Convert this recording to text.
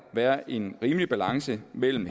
være en rimelig balance mellem